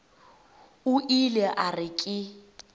o ile a re ke